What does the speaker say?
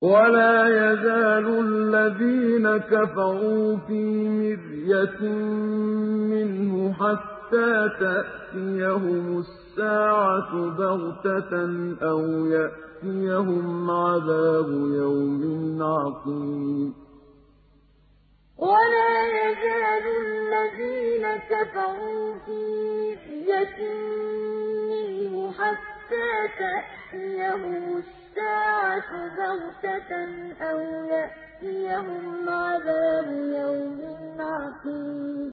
وَلَا يَزَالُ الَّذِينَ كَفَرُوا فِي مِرْيَةٍ مِّنْهُ حَتَّىٰ تَأْتِيَهُمُ السَّاعَةُ بَغْتَةً أَوْ يَأْتِيَهُمْ عَذَابُ يَوْمٍ عَقِيمٍ وَلَا يَزَالُ الَّذِينَ كَفَرُوا فِي مِرْيَةٍ مِّنْهُ حَتَّىٰ تَأْتِيَهُمُ السَّاعَةُ بَغْتَةً أَوْ يَأْتِيَهُمْ عَذَابُ يَوْمٍ عَقِيمٍ